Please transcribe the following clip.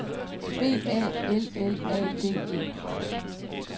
B A L L A D E